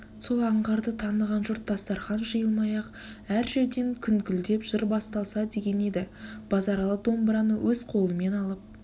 сол аңғарды таныған жұрт дастарқан жиылмай-ақ әр жерден күнкілдеп жыр басталса деген еді базаралы домбыраны өз қолымен алып